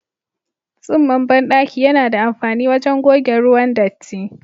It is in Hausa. Tsinman bandaki yana da amfani wajen goge ruwan datti.